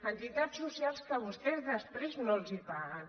entitats socials que vostès després no els paguen